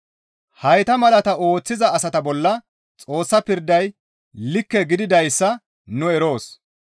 Hayta malaata ooththiza asata bolla Xoossa pirday likke gididayssa nu eroos.